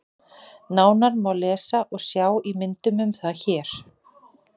Nánar má lesa og sjá í myndum um það hér.